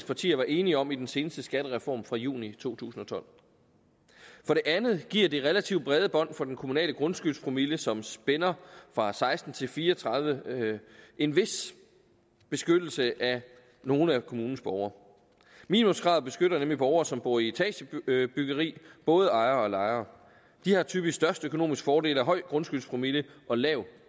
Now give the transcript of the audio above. partier var enige om i den seneste skattereform fra juni to tusind og tolv for det andet giver det relativt brede bånd for den kommunale grundskyldspromille som spænder fra seksten til fire og tredive en vis beskyttelse af nogle af kommunens borgere minimumskravet beskytter nemlig borgere som bor i etagebyggeri både ejere og lejere de har typisk størst økonomisk fordel af høj grundskyldspromille og lav